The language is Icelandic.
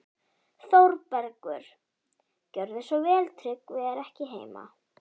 ÞÓRBERGUR: Gjörðu svo vel, Tryggvi er ekki heima.